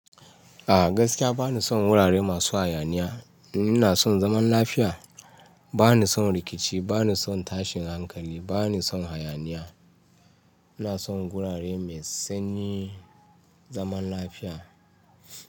A gaskiya ba ni son wurare masu hayaniya. Ina son zaman lafiya. Ba ni son rikici, ba ni son tashin hankali, ba ni son hayaniya. Ina son wurare mai sanyi, zaman lafiya.